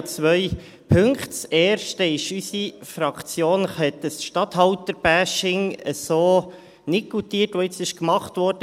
Unsere Fraktion hat das Statthalter-Bashing so nicht goutiert, welches jetzt gemacht wurde.